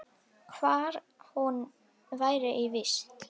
Hvar hún væri í vist.